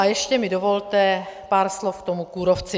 A ještě mi dovolte pár slov k tomu kůrovci.